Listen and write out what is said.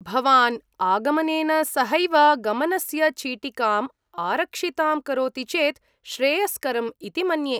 भवान् आगमनेन सहैव गमनस्य चीटिकाम् आरक्षितां करोति चेत् श्रेयस्करम् इति मन्ये।